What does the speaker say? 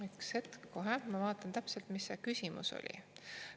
Üks hetk, kohe ma vaatan täpselt, mis see küsimus oli.